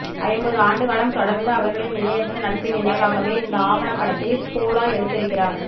ஐம்பது ஆண்டுகாலம் தொடர்ந்த அவர்களின் இணையற்ற நட்பின் நினைவாகவே இந்த ஆவணப்படத்தை ஸ்கோலா எடுத்திருக்கிறார்